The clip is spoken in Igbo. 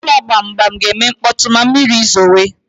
Ụlọ gbamgbam ga-eme mkpọtụ ma mmiri zowe